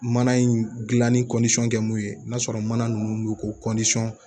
Mana in gilanni kɛ mun ye n'a sɔrɔ mana nunnu ko